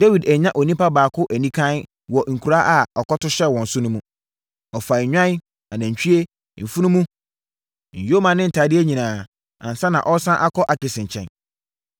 Dawid annya onipa baako anikann wɔ nkura a ɔkɔto hyɛɛ wɔn so no mu. Ɔfaa nnwan, anantwie, mfunumu, nyoma ne ntadeɛ nyinaa ansa na ɔsane akɔ Akis nkyɛn.